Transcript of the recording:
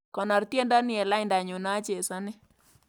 Konoor tyendo ni eng laindanyu nachesane